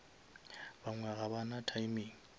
bangwe ga ba na timing